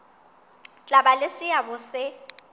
tla ba le seabo se